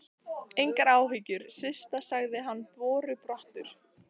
Engar áhyggjur, Systa sagði hann borubrattur.